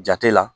Jate la